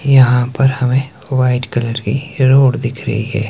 यहां पर हमे व्हाइट कलर की रोड दिख रहीं हैं।